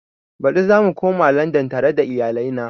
Baɗi zamu koma landan tare da iyalai na